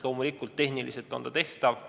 Loomulikult on see tehniliselt tehtav.